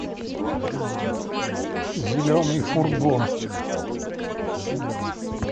зеленый фургон